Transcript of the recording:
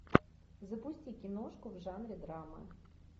запусти киношку в жанре драма